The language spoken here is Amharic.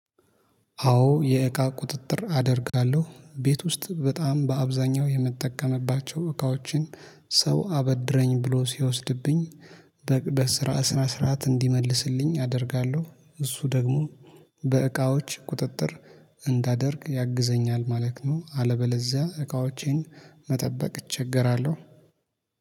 አዎ የእቃ ቁጥጥር አደርጋለሁ ቤት ውስጥ በጣም በአብዛኛው የመጠቀምባቸው እቃዎችን ሰው አበድረኝ ብሎ ሲወስድብኝ። በስራ ስነ ስርዓት እንዲመልስልኝ አደርጋለሁ እሱ ደግሞ በእቃዎች ቁጥጥር እንዳደርግ ያግዘኛል ማለት ነው። አለበለዚያ እቃዎቼን መጠበቅ እቸገራለሁ